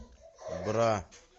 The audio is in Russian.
бра